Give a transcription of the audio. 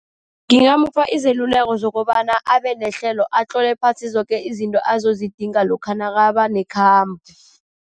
Ngingamupha izeluleko zokobana abe nehlelo, atlole phasi zoke izinto azozidinga lokha nakaba nekhamba.